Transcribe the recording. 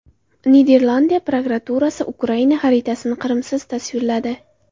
Niderlandiya prokuraturasi Ukraina xaritasini Qrimsiz tasvirladi.